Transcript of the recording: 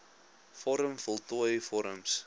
vorm voltooi vorms